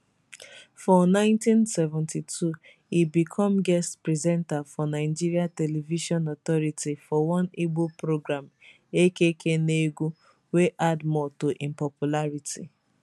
for 1972 e become guest presenter for nigeria television authority for one igbo programme akk negwu wey add more to im popularity